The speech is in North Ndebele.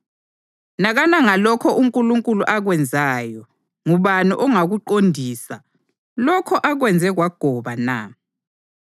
Nakana ngalokho uNkulunkulu akwenzayo: Ngubani ongakuqondisa lokho akwenze kwagoba na?